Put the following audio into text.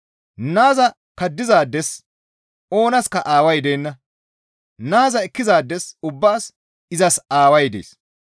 Naaza kaddizaades oonaska Aaway deenna; Naaza ekkizaades ubbaas izas Aaway dees.